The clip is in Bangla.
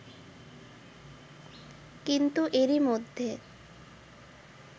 কিন্তু এরই মধ্যে